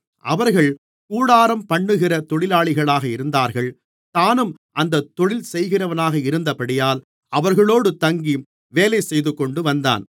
அவர்கள் கூடாரம்பண்ணுகிற தொழிலாளிகளாக இருந்தார்கள் தானும் அந்தத் தொழில் செய்கிறவனாக இருந்தபடியால் அவர்களோடு தங்கி வேலை செய்துகொண்டு வந்தான்